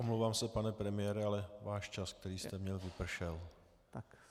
Omlouvám se, pane premiére, ale váš čas, který jste měl, vypršel.